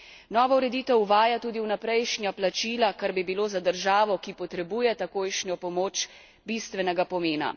Nova ureditev uvaja tudi vnaprejšnja plačila, kar bi bilo za državo, ki potrebuje takojšnjo pomoč, bistvenega pomena.